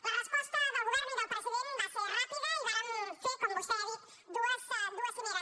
la resposta del govern i del president va ser ràpida i vàrem fer com vostè ha dit dues cimeres